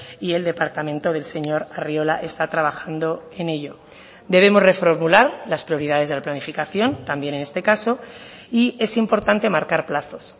y el departamento del señor arriola está trabajando en ello debemos reformular las prioridades de la planificación también en este caso y es importante marcar plazos